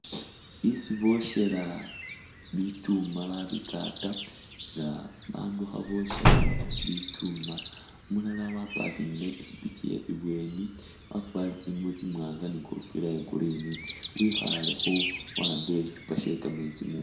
Isi boshela bikyuuma babikata nga bandu kha bokya bikyuuma umulala waparkingile ipikipiki ye ibweni wakwarile tsingubo tsimwanga ni kofila ye green wikhalekho wahambile shishupa shekametsi mungono.